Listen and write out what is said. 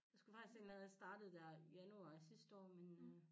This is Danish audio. Jeg skulle faktisk allerede have startet dér januar sidste år men øh